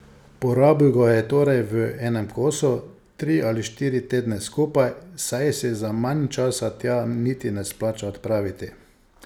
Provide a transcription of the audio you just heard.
Porabil ga je torej v enem kosu, tri ali štiri tedne skupaj, saj se za manj časa tja niti ne splača odpraviti.